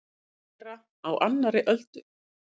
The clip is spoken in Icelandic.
Að vera á annarri öldu